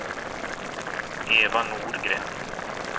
Eva Norgren